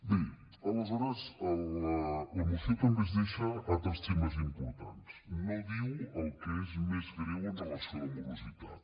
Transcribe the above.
bé aleshores la moció també es deixa altres temes importants no diu el que és més greu amb relació a la morositat